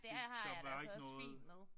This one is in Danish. Det der var ikke noget?